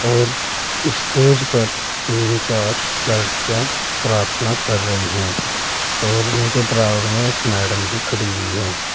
और स्टेज पर तीन चार लड़कियाँ प्रार्थना कर रही हैं और इन के बराबर में एक मैडम भी खड़ी हुई है।